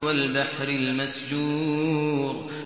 وَالْبَحْرِ الْمَسْجُورِ